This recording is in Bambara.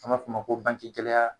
An b'a f'ɔ ma ko banki gɛlɛya